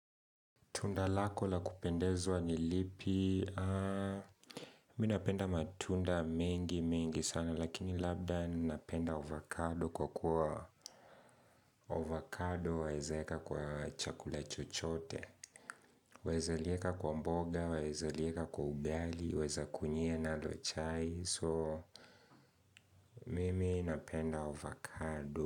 Tunda lako la kupendezwa nilipi, minapenda matunda mengi mengi sana, lakini labda ninapenda avocado kwa kuwa, avocado waezaweka kwa chakula chochote, waeza lieka kwa mboga, waeza lieka kwa ugali, waeza kunyia nalo chai, so mimi napenda avocado.